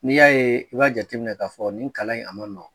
N'i y'a ye, i b'a jate minɛ k'a fɔ nin kalan in a, ma nɔgɔ.